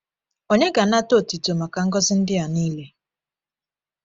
Onye ga-anata otuto maka ngọzi ndị a niile?